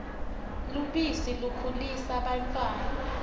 lubisi likhulisa bantfwana